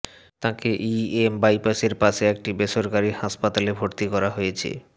তাঁকে ইএম বাইপাসের পাশে একটি বেসরকারি হাসপাতালে ভর্তি করা হয়েছে